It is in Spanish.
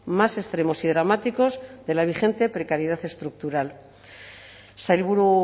más extremos y dramáticos de la vigente precariedad estructural sailburu